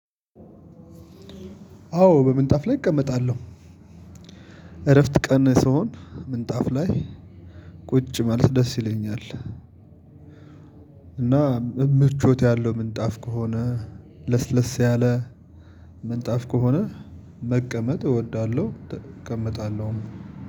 አዎ በምንጣፍ ላይ እቀመጣለሁ። እረፍት ቀን ስሆን ምንጣፍ ላይ ቁጭ ማለት ደስ ይለኛል። እና ምቾት ያለው ምንጣፍ ከሆነ ለስለስ ያለ ምንጣፍ ከሆነ መቀመጥ እወዳለሁ እቀመጣለሁ።